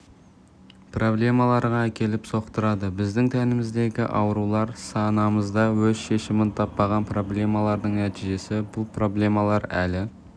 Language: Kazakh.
проблемаларға әкеліп соқтырады біздің тәніміздегі аурулар санамызда өз шешімін таппаған проблемалардың нәтижесі бұл проблемалар әлі